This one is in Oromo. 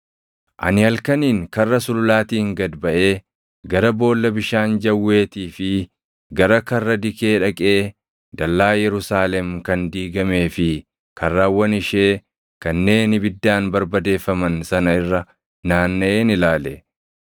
Ani halkaniin Karra Sululaatiin gad baʼee gara Boolla Bishaan Jawweetii fi gara Karra Dikee dhaqee dallaa Yerusaalem kan diigamee fi karrawwan ishee kanneen ibiddaan barbadeeffaman sana irra naannaʼeen ilaale.